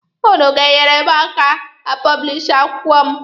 Ụnụ ga-eneyere m aka a pọblishi akwụkwọ m.